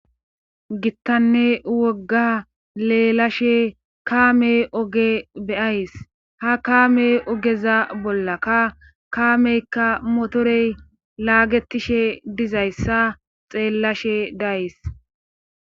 gittanne wogga leelashe kaame oge bey,ys ha kaame ogeza bollakka kaameykka motorey laagetishe dizayssa xeellashe days